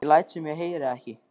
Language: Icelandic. Ég læt sem ég heyri ekki.